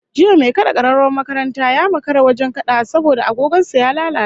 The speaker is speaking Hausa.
Jiya mai kad'a kararrawar makaranta ya makara wajen kadawa saboda agogon sa ya lalace